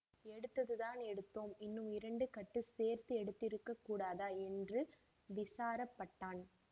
எடுத்ததுதான் எடுத்தோம் இன்னும் இரண்டு கட்டு சேர்த்து எடுத்திருக்கக் கூடாதா என்று விசாரப்பட்டான்